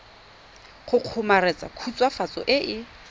go kgomaretsa khutswafatso e e